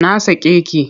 Na sake ki!